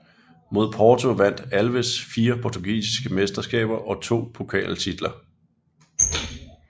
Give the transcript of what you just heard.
Med Porto vandt Alves fire portugisiske mesterskaber og to pokaltitler